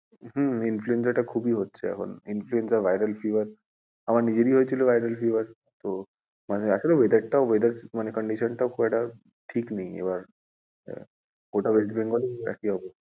হুম influenza টা খুবই হচ্ছে এখন, influenza, viral fever আমার নিজেরই হয়েছিল viral fever তো মানে আসলে weather টাও weather condition টাও খুব একটা ঠিক নেই এবার গোটা West Bengal একই অবস্থা।